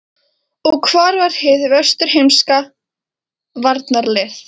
Og hvar var hið vesturheimska varnarlið?